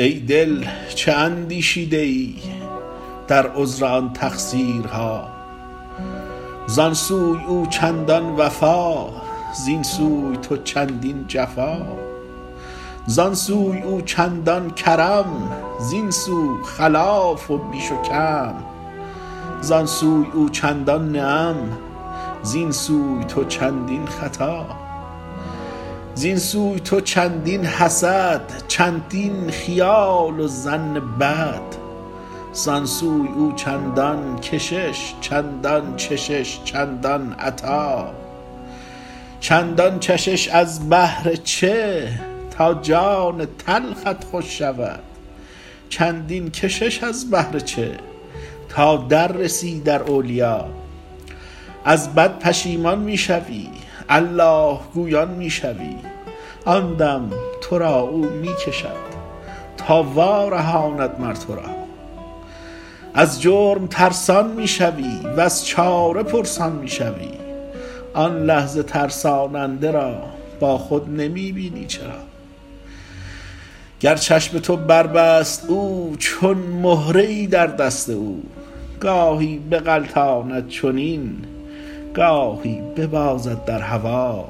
ای دل چه اندیشیده ای در عذر آن تقصیرها زان سوی او چندان وفا زین سوی تو چندین جفا زان سوی او چندان کرم زین سو خلاف و بیش و کم زان سوی او چندان نعم زین سوی تو چندین خطا زین سوی تو چندین حسد چندین خیال و ظن بد زان سوی او چندان کشش چندان چشش چندان عطا چندین چشش از بهر چه تا جان تلخت خوش شود چندین کشش از بهر چه تا در رسی در اولیا از بد پشیمان می شوی الله گویان می شوی آن دم تو را او می کشد تا وارهاند مر تو را از جرم ترسان می شوی وز چاره پرسان می شوی آن لحظه ترساننده را با خود نمی بینی چرا گر چشم تو بربست او چون مهره ای در دست او گاهی بغلطاند چنین گاهی ببازد در هوا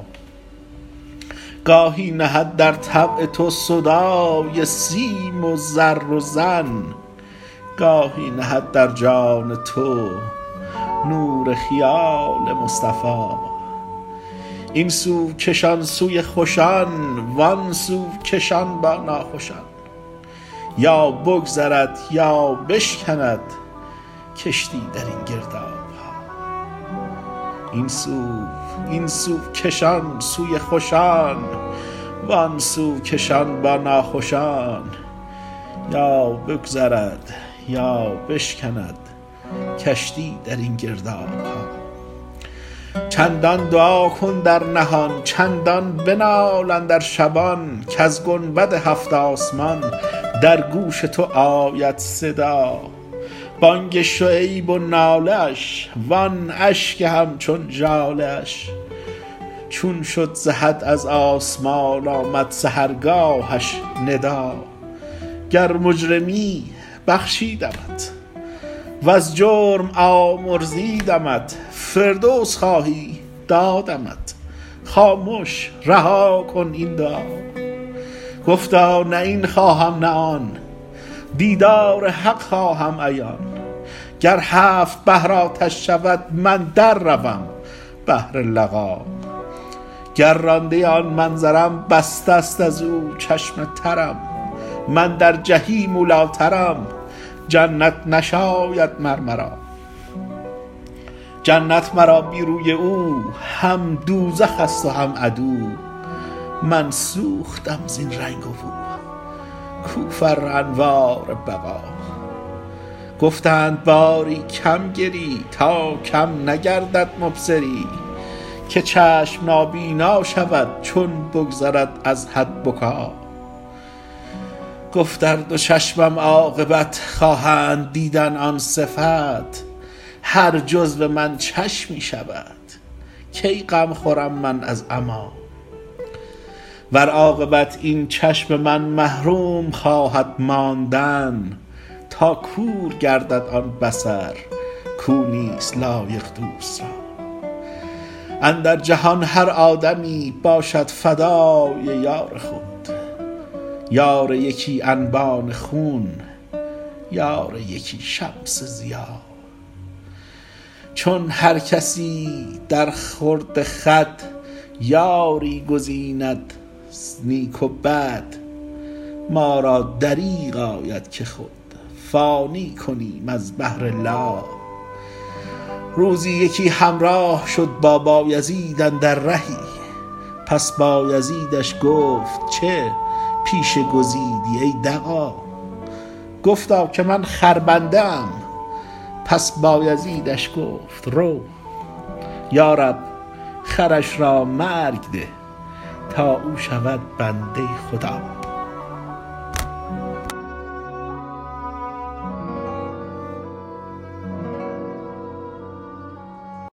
گاهی نهد در طبع تو سودای سیم و زر و زن گاهی نهد در جان تو نور خیال مصطفیٰ این سو کشان سوی خوشان وان سو کشان با ناخوشان یا بگذرد یا بشکند کشتی در این گرداب ها چندان دعا کن در نهان چندان بنال اندر شبان کز گنبد هفت آسمان در گوش تو آید صدا بانگ شعیب و ناله اش وان اشک همچون ژاله اش چون شد ز حد از آسمان آمد سحرگاهش ندا گر مجرمی بخشیدمت وز جرم آمرزیدمت فردوس خواهی دادمت خامش رها کن این دعا گفتا نه این خواهم نه آن دیدار حق خواهم عیان گر هفت بحر آتش شود من در روم بهر لقا گر رانده آن منظرم بسته است از او چشم ترم من در جحیم اولی ٰترم جنت نشاید مر مرا جنت مرا بی روی او هم دوزخ ست و هم عدو من سوختم زین رنگ و بو کو فر انوار بقا گفتند باری کم گری تا کم نگردد مبصری که چشم نابینا شود چون بگذرد از حد بکا گفت ار دو چشمم عاقبت خواهند دیدن آن صفت هر جزو من چشمی شود کی غم خورم من از عمیٰ ور عاقبت این چشم من محروم خواهد ماندن تا کور گردد آن بصر کو نیست لایق دوست را اندر جهان هر آدمی باشد فدای یار خود یار یکی انبان خون یار یکی شمس ضیا چون هر کسی درخورد خود یاری گزید از نیک و بد ما را دریغ آید که خود فانی کنیم از بهر لا روزی یکی همراه شد با بایزید اندر رهی پس بایزیدش گفت چه پیشه گزیدی ای دغا گفتا که من خربنده ام پس بایزیدش گفت رو یا رب خرش را مرگ ده تا او شود بنده خدا